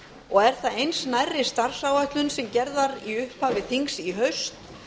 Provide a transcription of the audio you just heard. og er það eins nærri starfsáætlun sem gerð var í upphafi þings í haust